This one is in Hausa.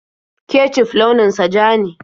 Kecuf launin sa ja ne.